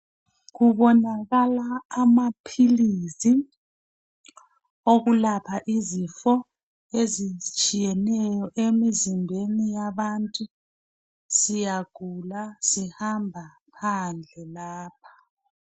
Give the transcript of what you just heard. kubonakala amaphilii okulapha izifo ezitshiyeneyo emzimbeni yabantu siyagula sihamba phandle lapha